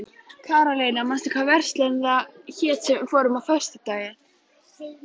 Karólína, manstu hvað verslunin hét sem við fórum í á föstudaginn?